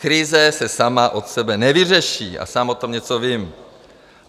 Krize se sama od sebe nevyřeší - a sám o tom něco vím.